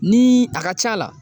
Ni a ka c'a la.